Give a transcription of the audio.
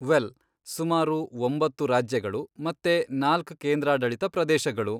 Well, ಸುಮಾರು ಒಂಬತ್ತು ರಾಜ್ಯಗಳು ಮತ್ತೆ ನಾಲ್ಕ್ ಕೇಂದ್ರಾಡಳಿತ ಪ್ರದೇಶಗಳು.